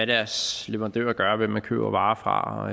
deres leverandører gør og hvem man køber varer fra